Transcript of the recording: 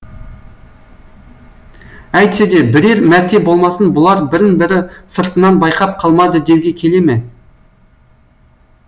әйтсе де бірер мәрте болмасын бұлар бірін бірі сыртынан байқап қалмады деуге келе ме